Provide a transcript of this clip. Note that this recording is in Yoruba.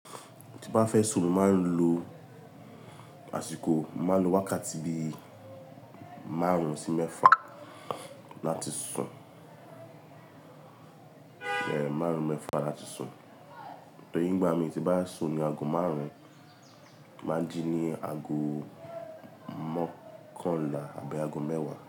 Tí bá fẹ́ sùn mo máa ń lo àsìkò mo máa ń lo wákàtí bí máàrún sí mẹ́fà láti sùn. Máàrún mẹ́fà láti sùn. Torí ìgbà mí tí bá sùn ni aago máàrún, màá jí ní aago mọ́kànlá àbí aago mẹ́wàá.